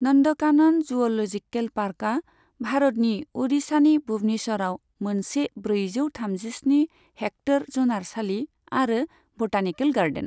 Nandankanan zoological पार्कआ भारतनि अडिशानि भुबनेश्वरआव मोनसे ब्रैजौ थामजिस्नि हेक्टर जुनारसालि आरो बटानिकेल गार्डेन।